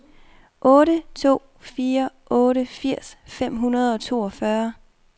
otte to fire otte firs fem hundrede og toogfyrre